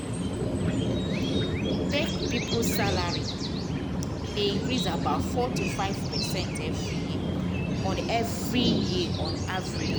tech people salary dey increase about 4.5 percent every year on every year on average.